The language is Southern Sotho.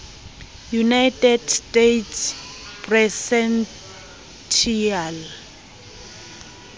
united states presidential